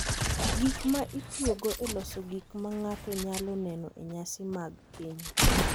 Gik ma itiyogo e loso gik ma ng’ato nyalo neno e nyasi mag keny.